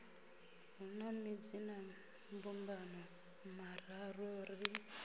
hu na madzinambumbano mararu ri